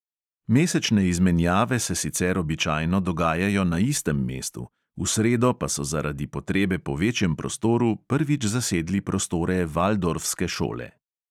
Mesečne izmenjave se sicer običajno dogajajo na istem mestu, v sredo pa so zaradi potrebe po večjem prostoru prvič zasedli prostore valdorfske šole.